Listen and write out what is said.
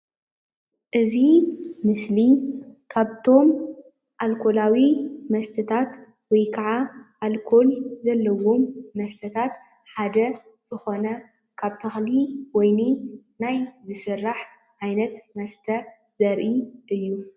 እዚ ምስሊ ካብቶም ኣልኮላዊ መስተታት ወይከዓ ኣልኮል ዘለዎም መስተታት ሓደ ዝኮነ ካብ ተክሊ ወይኒ ናይ ዝስራሕ ዓይነት መስተ ዘርኢ እዩ ::